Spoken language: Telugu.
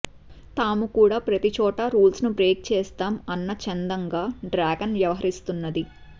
తాము కూడా ప్రతి చోటా రూల్స్ ను బ్రేక్ చేస్తాం అన్న చందంగా డ్రాగన్ వ్యవహరిస్తున్నది